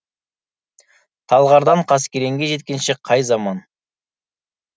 талғардан қаскелеңге жеткенше қай заман